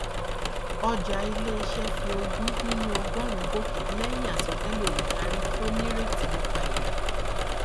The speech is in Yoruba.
ọjà iléiṣẹ fi ogún nínú ọgọrùnún gòkè lẹyìn àsọtẹlẹ olùdarí tó nírètí nípa èrè